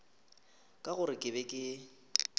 ka gore ke be ke